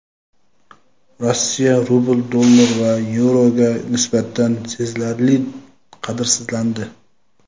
Rossiya rubli dollar va yevroga nisbatan sezilarli qadrsizlandi.